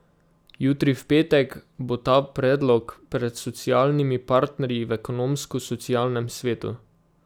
Jutri, v petek, bo ta predlog pred socialnimi partnerji v Ekonomsko socialnem svetu.